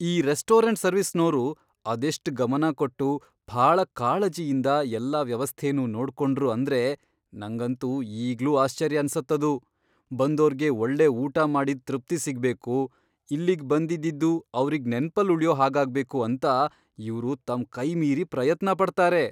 ಈ ರೆಸ್ಟೋರಂಟ್ ಸರ್ವಿಸ್ನೋರು ಅದೆಷ್ಟ್ ಗಮನ ಕೊಟ್ಟು, ಭಾಳ ಕಾಳಜಿಯಿಂದ ಎಲ್ಲ ವ್ಯವಸ್ಥೆನೂ ನೋಡ್ಕೊಂಡ್ರು ಅಂದ್ರೆ ನಂಗಂತೂ ಈಗ್ಲೂ ಆಶ್ಚರ್ಯ ಅನ್ಸತ್ತದು. ಬಂದೋರ್ಗೆ ಒಳ್ಳೆ ಊಟ ಮಾಡಿದ್ ತೃಪ್ತಿ ಸಿಗ್ಬೇಕು, ಇಲ್ಲಿಗ್ ಬಂದಿದ್ದಿದ್ದು ಅವ್ರಿಗ್ ನೆನ್ಪಲ್ಲ್ ಉಳ್ಯೋ ಹಾಗಾಗ್ಬೇಕು ಅಂತ ಇವ್ರು ತಮ್ ಕೈಮೀರಿ ಪ್ರಯತ್ನ ಪಡ್ತಾರೆ.